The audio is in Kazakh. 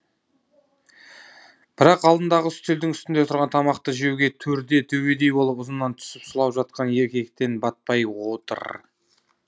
бірақ алдындағы үстелдің үстінде тұрған тамақты жеуге төрде төбедей болып ұзынынан түсіп сұлап жатқан еркектен батпай отыр